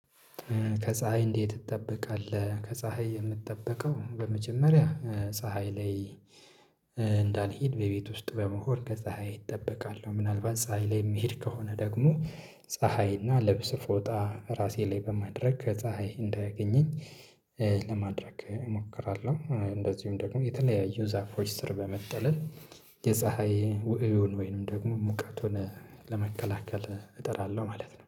ከፀሀይ እንዴት ትጠበቃለህ? ከፀሀይ የምትጠበቀው በመጀመሪያ ፀሀይ ላይ እንዳልሄድ በቤት ውስጥ በመሆን ከፀሀይ እጠበቃለሁ። ምናልባት ፀሀይ ላይ የሚሄድ ከሆነ ደግሞ። ፀሀይና ልብስ ፎጣ ራሴ ላይ በማድረግ ከፀሀይ እንዳያገኘኝ ለማድረግ እሞክራለሁ። እንደዚሁም ደግሞ የተለያየው ዛፎች ስር በመጠለል የፀሀይ ውእዩን ወይንም ደግሞ ሙቀቱን ለመከላከል እጥራለሁ ማለት ነው